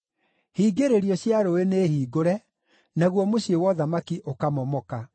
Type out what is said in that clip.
Hingĩrĩrio cia rũũĩ nĩ hingũre, naguo mũciĩ wa ũthamaki ũkamomoka.